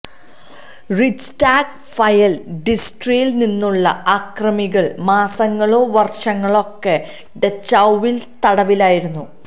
Reichstag fire ഡിസ്ട്രിയിൽ നിന്നുള്ള അക്രമികൾ മാസങ്ങളോ വർഷങ്ങളോക്ക് ഡച്ചൌവിൽ തടവിലായിരുന്നു